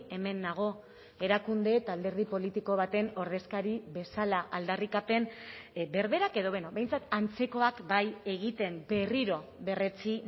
hemen nago erakunde eta alderdi politiko baten ordezkari bezala aldarrikapen berberak edo beno behintzat antzekoak bai egiten berriro berretsi